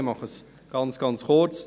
Ich mache es sehr kurz.